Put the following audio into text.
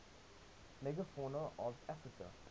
megafauna of africa